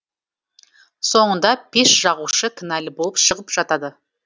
соңында пеш жағушы кінәлі болып шығып жатады